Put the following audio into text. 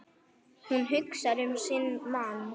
Hún hugsar um sinn mann.